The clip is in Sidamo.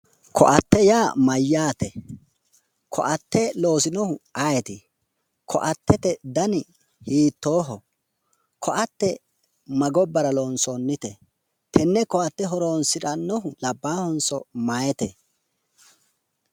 koatte yaa mayyaate? koatte loosinohu ayeeti? koattete dani hiittooho? koatte ma gobbara loonsoonnite? tenne koatte horonsirannohu labbaahonso meyaate?